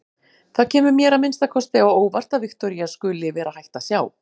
Það kemur mér að minnsta kosti á óvart að Viktoría skuli vera hætt að sjá.